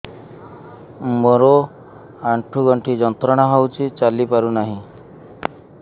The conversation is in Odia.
ମୋରୋ ଆଣ୍ଠୁଗଣ୍ଠି ଯନ୍ତ୍ରଣା ହଉଚି ଚାଲିପାରୁନାହିଁ